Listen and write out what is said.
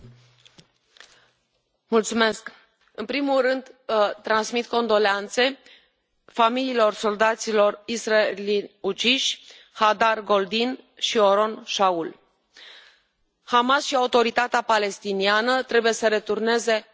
Domnule președinte, în primul rând transmit condoleanțe familiilor soldaților israelieni uciși, Hadar Goldin și Oron Shaul. Hamas și Autoritatea Palestiniană trebuie să returneze trupurile acestora.